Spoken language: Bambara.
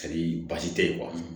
basi tɛ yen